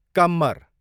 कम्मर